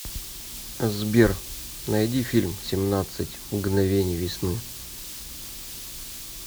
сбер найди фильм семнадцать мгновений весны